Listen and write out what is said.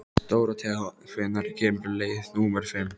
Dóróthea, hvenær kemur leið númer fimm?